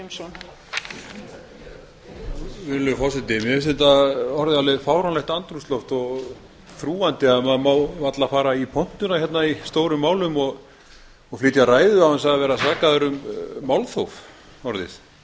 virðulegur forseti mér finnst þetta orðið alveg fáránlegt andrúmsloft og þrúgandi ef maður má varla fara í pontuna hérna í stórum málum og flytja ræðu án þess að vera sakaður um málþóf orðið